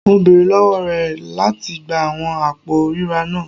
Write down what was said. Mo beere lọwọ rẹ lati gba awọn apo rira naa